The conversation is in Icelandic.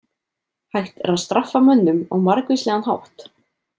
Hægt er að straffa mönnum á margvíslegan hátt.